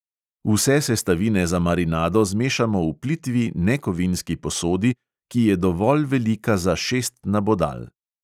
Vse sestavine za marinado zmešamo v plitvi nekovinski posodi, ki je dovolj velika za šest nabodal.